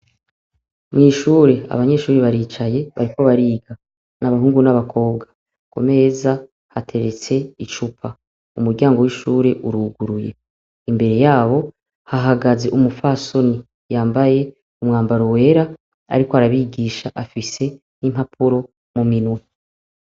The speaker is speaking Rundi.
Mw'ishure abanyeshuri baricaye bariko bariga n'abahungu n'abakobwa ku meza hateretse icupa umuryango w'ishure uruguruye imbere yabo hahagaze umufasoni yambaye umwambaro wera, ariko arabigisha afise n'impapuro mu minwe.